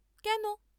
কেন?